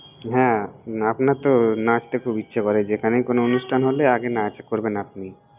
হ্যাঁ, না আপনার তো নাচতে খুব ইচ্ছে করে, যেখানেই কোনো অনুষ্ঠান হলে আগে নাচ করবেন আপনি।